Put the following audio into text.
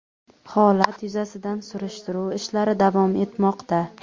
Holat yuzasidan surishtiruv ishlari davom etmoqda.